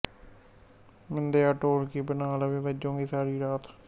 ਮਿੰਦਿਆ ਢੋਲਕੀ ਬਣਾ ਲੈ ਵੇ ਬੱਜੂਗੀ ਸਾਰੀ ਰਾਤ